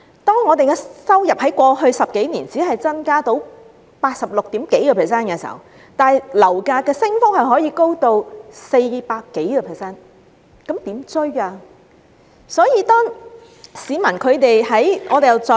當我們的收入在過去10多年只增加百分之八十六點多，但樓價升幅卻高達百分之四百多，收入怎能追得上樓價？